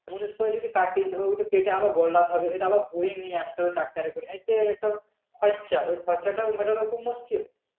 মুনিশ করে যদি কাটি তো ওটা কেটে আবার গোল্লাতে হবে ইটা আবার বয়ে নিয়ে আস্তে হবে tractor এ করে এতে একটা খরচা ওই খরচা তা মেটানো খুব মুশকিল